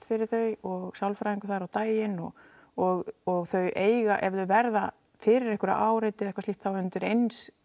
fyrir þau og sálfræðingur þar á daginn og og og þau eiga ef þau verða fyrir einhverju áreiti eða eitthvað slíkt þá undir eins